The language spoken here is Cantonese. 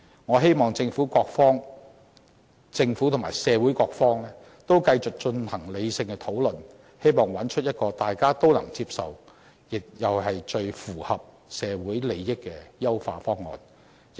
我希望政府和社會各方都繼續進行理性討論，找出一個大家都能接受，又最符合社會利益的優化方案。